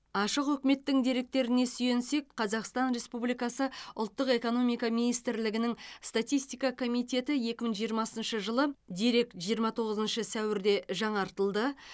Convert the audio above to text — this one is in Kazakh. ашық үкіметтің деректеріне сүйенсек қазақстан республикасы ұлттық экономика министрлігінің статистика комитеті екі мың жиырмасыншы жылы дерек жиырма тоғызыншы сәуірде жаңартылды